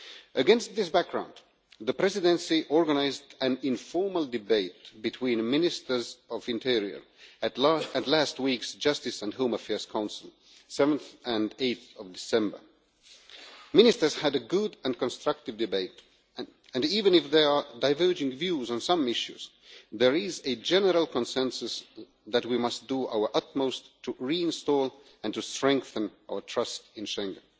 Against this background, the Presidency organised an informal debate between the Ministers of the Interior at last week's Justice and Home Affairs Council on 7 and 8 December. Ministers had a good and constructive debate, and even if there are diverging views on some issues, there is a general consensus that we must do our utmost to reinstall and strengthen our trust in Schengen.